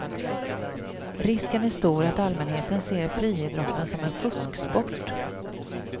Risken är stor att allmänheten ser friidrotten som en fusksport.